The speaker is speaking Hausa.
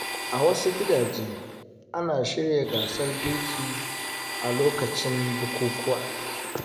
A wasu gidaje, ana shirya gasar girki a lokacin bukukuwa.